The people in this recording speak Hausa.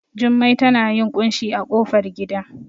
Jummai tana yin ƙunshi a ƙofar gida